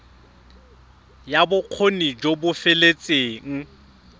ya bokgoni jo bo feteletseng